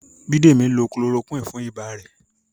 Bidemi lo chloroquine fún ibà rẹ̀